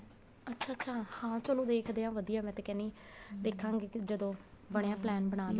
ਅੱਛਾ ਅੱਛਾ ਹਾਂ ਚਲੋ ਵੇਖਦੇ ਆ ਵਧੀਆ ਮੈਂ ਤਾਂ ਕਹਿਨੀ ਦੇਖਾਂਗੇ ਕੇ ਜਦੋਂ ਬਣਿਆ plan